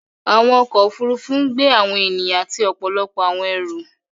Awọn ọkọ̀ òfurufú ń gbẹ awọn ènìyàn àti ọpọlọpọ̀ awọn ẹ̀rú.